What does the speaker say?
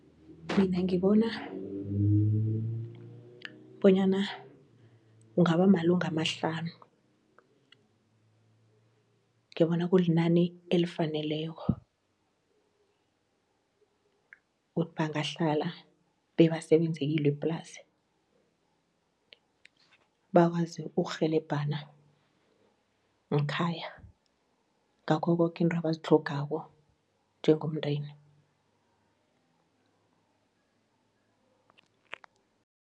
Mina ngibona bonyana kungaba malunga amahlanu, ngibona kulinani elifaneleko ukuthi bangahlala bebasebenze kilo iplasi, bakwazi ukurhelebhana ng'khaya ngakho koke izinto abazitlhogako njengomndeni.